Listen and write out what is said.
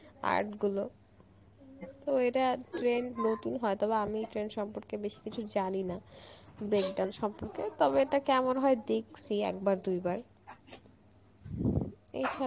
art গুলো তো এটা trend নতুন হয়তো বা আমি এই trend সম্পর্কে বেশি কিছু জানি না break dance সম্পর্কে তবে এটা কেমন হয় দেখসি একবার দুইবার এছাড়া